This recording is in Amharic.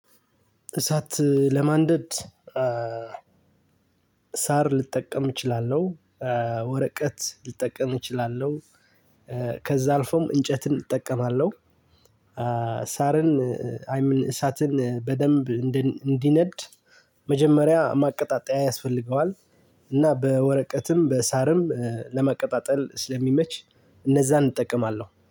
እሳት ለማንደድ ሳር ልጠቀም እችላለሁ። ወረቀት ልጠቀም እችላለሁ። ከዛ አልፎም እንጨትን እጠቀማለሁ። ሳርን አይምን እሳትን በደንብ እንዲነድ መጀመሪያ ማቀጣጠያ ያስፈልገዋል። እና በወረቀትም በሳርም ለማቀጣጠል ስለሚመች እነዛን እጠቀማለሁ